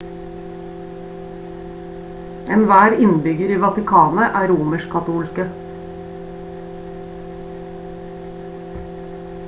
enhver innbygger i vatikanet er romersk-katolske